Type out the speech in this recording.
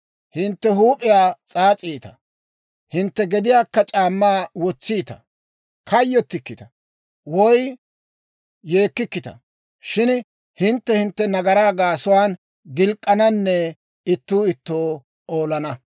Hintte huup'iyaa s'aas'iita; hintte gediyaan c'aammaa wotsiita. Kayyottikkita woy yeekkikkita. Shin hintte hintte nagaraa gaasuwaan gilk'k'ananne ittuu ittoo olana.